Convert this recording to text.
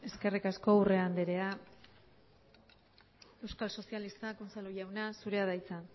eskerrik asko urrea andrea euskal sozialistak unzalu jauna zurea da hitza